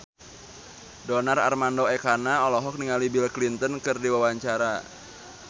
Donar Armando Ekana olohok ningali Bill Clinton keur diwawancara